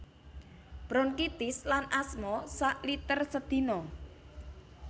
Bronkitis lan asma sak liter sedina